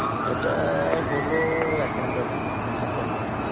এটা হলো এক ঘন্টার play এক ঘন্টার